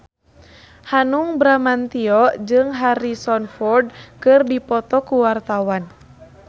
Hanung Bramantyo jeung Harrison Ford keur dipoto ku wartawan